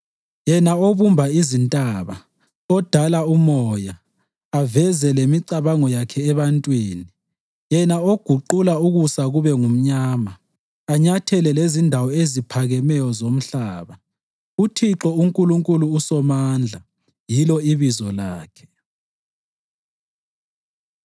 Yena obumba izintaba, udala umoya, aveze lemicabango yakhe ebantwini, yena oguqula ukusa kube ngumnyama, anyathele lezindawo eziphakemeyo zomhlaba, uThixo uNkulunkulu uSomandla yilo ibizo lakhe.